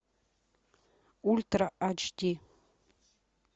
ультра ач ди